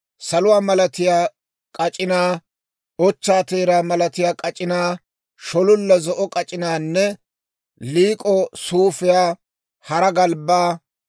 saluwaa malatiyaa k'ac'inaa, ochchaa teeraa malatiyaa k'ac'inaa, shololla zo'o k'ac'inaanne liik'o suufiyaa, deeshshaa galbbaa,